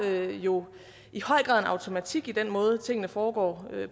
er jo i høj grad en automatik i den måde tingene foregår